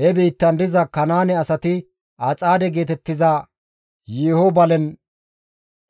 He biittan diza Kanaane asati Axaade geetettiza yeeho balen